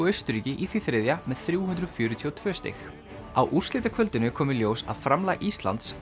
Austurríki í því þriðja með þrjúhundruð fjörutíu og tvö stig á úrslitakvöldinu kom í ljós að framlag Íslands